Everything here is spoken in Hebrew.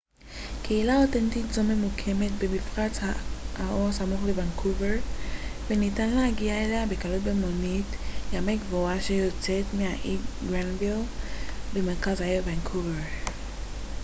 קהילה אותנטית זו ממוקמת במפרץ האו סמוך לוונקובר וניתן להגיע אליה בקלות במונית ימי קבועה שיוצאת מהאי גרנוויל במרכז העיר וונקובר